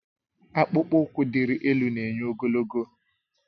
Akpụkpọ ụkwụ diri elu na-enye ogologo